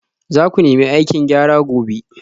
Za ku nemi aikin gyara gobe